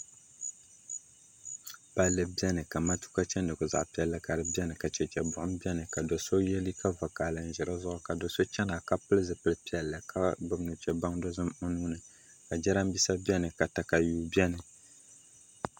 Palli biɛni ka matuuka chɛndigu ka di nyɛ zaɣ piɛlli ka di biɛni ka chɛchɛ buɣum biɛni ka so yɛ liiga vakaɣali n ʒi dizuɣu ka do so chɛna ka pili zipili piɛlli ka gbubi nuchɛ baŋ o nuuni ka jiranbiisa biɛni ka katawii biɛni